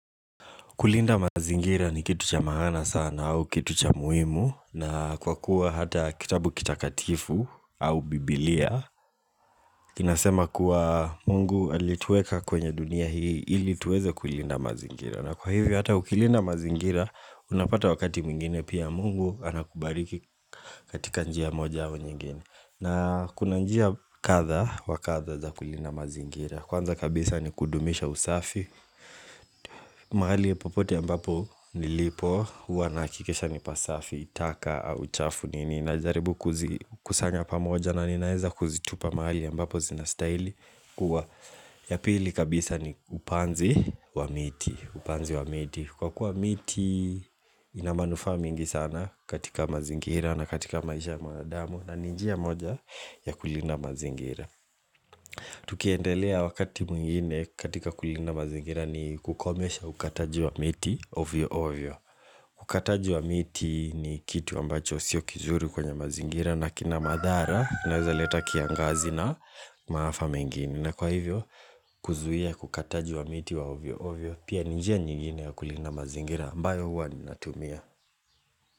Kulinda mazingira ni kitu cha maana sana au kitu cha muhimu na kwa kuwa hata kitabu kitakatifu au biblia. Inasema kuwa mungu alitueka kwenye dunia hii ili tuweze kulinda mazingira. Na kwa hivyo hata ukilinda mazingira unapata wakati mingine pia mungu anakubariki katika njia moja hao nyingine. Na kuna njia kadha wakatha za kulinda mazingira. Kwanza kabisa ni kudumisha usafi. Mahali ya popote ya mbapo nilipo uwa nahakikesha ni pasafi taka au chafu nini na jaribu kuzi kusanya pamoja na ninaeza kuzitupa mahali ambapo zinastilihi kuwa ya pili kabisa ni upanzi wa miti upanzi wa miti Kwa kuwa miti inamanufaa mengi sana katika mazingira na katika maisha ya mwanadamu na ninji ya moja ya kulina mazingira Tukiendelea wakati mwingine katika kulindaa mazingira ni kukomesha ukataji wa miti ovyo ovyo Ukataji wa miti ni kitu ambacho sio kizuri kwenye mazingira nakina madhara na uzaleta kiangazi na maafa mengini na kwa hivyo kuzuhia kukataji wa miti wa ovyo ovyo Pia nijia nyingine ya kulina mazingira ambayo huwa ni natumia.